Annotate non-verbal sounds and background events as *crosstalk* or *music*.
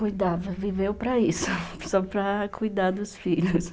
Cuidava, viveu para isso, *laughs* só para cuidar dos filhos.